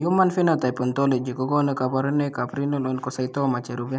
Human Phenotype Ontology kokonu kabarunoikab Renal Oncocytoma cherube.